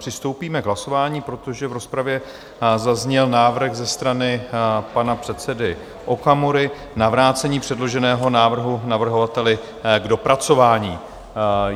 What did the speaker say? Přistoupíme k hlasování, protože v rozpravě zazněl návrh ze strany pana předsedy Okamury na vrácení předloženého návrhu navrhovateli k dopracování.